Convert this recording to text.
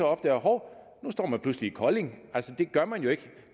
opdager at hov nu står man pludselig i kolding altså det gør man jo ikke